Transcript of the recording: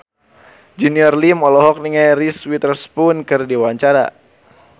Junior Liem olohok ningali Reese Witherspoon keur diwawancara